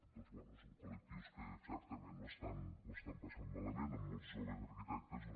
doncs bé són col·lectius que certament ho estan passant malament amb molts joves arquitectes doncs